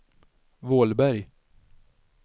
Vålberg